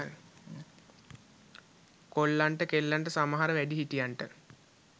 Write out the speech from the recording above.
කොල්ලන්ට කෙල්ලන්ට සමහර වැඩි හිටියන්ට